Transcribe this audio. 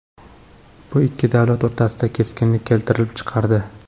Bu ikki davlat o‘rtasida keskinlik keltirib chiqardi.